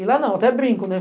E lá não, até brinco, né?